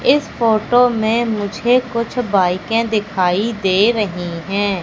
इस फोटो में मुझे कुछ भी बाईकें दिखाई दे रही हैं।